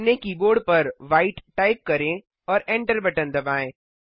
अपने कीबोर्ड पर white type करें और एंटर बटन दबाएँ